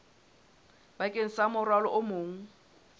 bakeng sa morwalo o mong